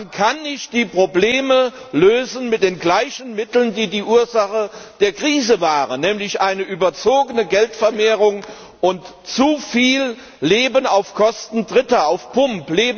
Man kann nicht die Probleme mit den gleichen Mitteln lösen, die die Ursache der Krise waren, nämlich eine überzogene Geldvermehrung und zu viel Leben auf Kosten Dritter, auf Pump!